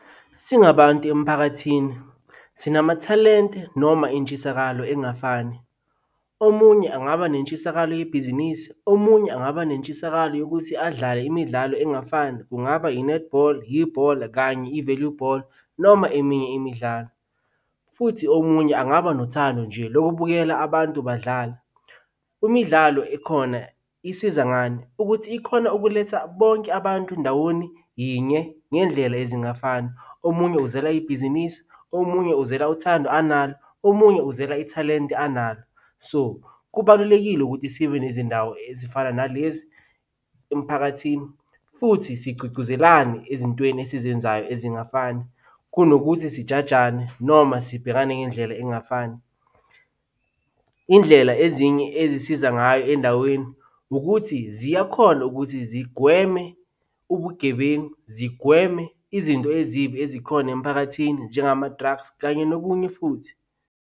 Singabantu emphakathini sinamathalente noma intshisakalo engafani. Omunye angaba netshisakalo yebhizinisi, omunye angaba nentshisakalo yokuthi adlale imidlalo engafani. Kungaba i-netball, ibhola kanye i-value ball noma eminye imidlalo, futhi omunye angaba nothando nje lokubukela abantu badlala. Imidlalo ekhona isiza ngani? Ukuthi ikhona ukuletha bonke abantu ndawoni yinye ngendlela ezingafani. Omunye uzela ibhizinisi, omunye uzela uthando analo, omunye uzela ithalente analo. So, kubalulekile ukuthi sibe nezindawo ezifana nalezi emphakathini futhi sigcugcuzelane ezintweni esizenzayo ezingafani kunokuthi sijajane noma sibhekane ngendlela engafani. Indlela ezinye ezisiza ngayo endaweni ukuthi ziyakhona ukuthi zigweme ubugebengu, zigweme izinto ezibi ezikhona emphakathini, njengama-drugs kanye nokunye futhi.